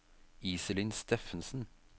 Iselin Steffensen